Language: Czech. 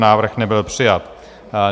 Návrh nebyl přijat.